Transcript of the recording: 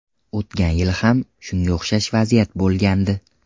O‘tgan yili ham shunga o‘xshash vaziyat bo‘lgandi.